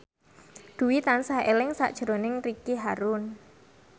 Dwi tansah eling sakjroning Ricky Harun